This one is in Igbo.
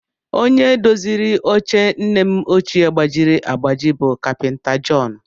Onye doziri oche nne m ọchịe gbajiri agbaji bụ kapịnta Jọn